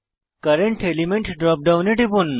current element drop ডাউনে টিপুন